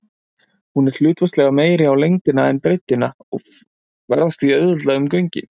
Hún er hlutfallslega meiri á lengdina en breiddina og ferðast því auðveldlega um göngin.